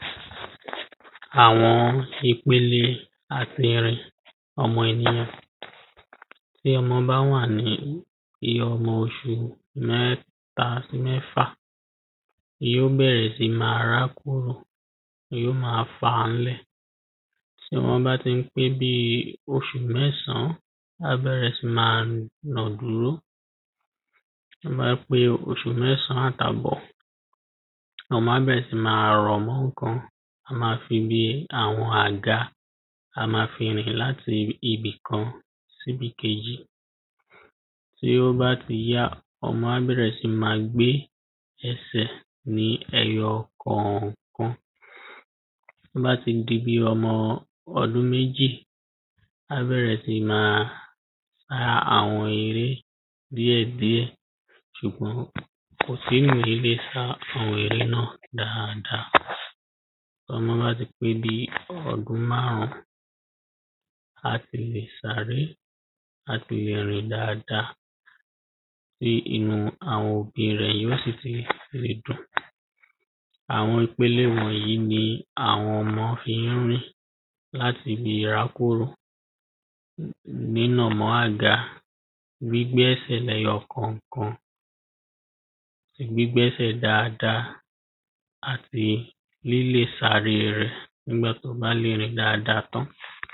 àwọn ìpele àtirìn ọmọ ènìyàn bí ọmọ bá wà ní iye ọmọ oṣù mẹ́ta sí mẹ́fà, yí ò bẹ̀rẹ̀ sí ma rákòrò, yí ò ma fà ńlẹ̀ tọ́mọ bá ti ń pé bíi oṣù mẹ́sàn-án, á bẹ̀rẹ̀ sí máa nà dúró bí ó bá pé oṣù mẹ́sàn-án àtàbọ̀, ọmọ á bẹ̀rẹ̀ sí ma rọ̀ mọ́ ǹkan á ma fi bí àwọn àga, á ma fi rìn láti ibì kan síbìkejì tí ó bá ti yá, ọmọ á bẹ̀rẹ̀ sí ní ma gbé ẹsẹ̀ ní ẹyọ kọ̀ọ̀kan tó bá ti di bí i ọmọ ọdún mejì, á bẹ̀rẹ̀ sí ma sá àwọn eré díẹ̀díẹ̀ ṣùgbọ́n kò tíì sá àwọn eré náà dáadáa tọ́mọ bá ti pé bíi ọdún márùn-ún, á ti lè sáre, à ti lè rìn dáadáa tí inú àwọn òbí rẹ̀ yóò sì fi lè dùn àwọn ipele wọ̀nyí ní àwọn ọmọ fi ń rìn láti ìrákòrò ní nínà mọ́ àga, gbígbé ẹsẹ̀ lẹ́yọkànkan gbígbẹ́sẹ̀ dáadáa àti lílè sáre rẹ̀ nígbà tó bá lè rìn dáadáa tán